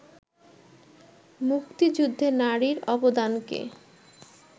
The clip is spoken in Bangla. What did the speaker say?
মুক্তিযুদ্ধে নারীর অবদানকে